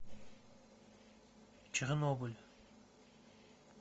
чернобыль